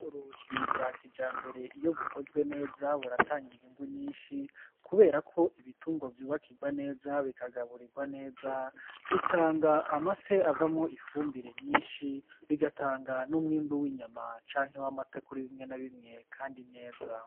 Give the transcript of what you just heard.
Ubworozi bwa kijambere iyo bukozwe neza buratanga inyungu nyinshi kubera ko ibitungwa vyubakigwa neza bikagaburigwa neza, bitanga amase avamwo ifumbire nyinshi bigatanga n'umwimbu w'inyama canke w'amata kuri bimwe na bimwe kandi neza.